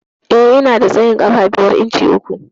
Eh, Ina da tsayin ƙafa biyar inci uku.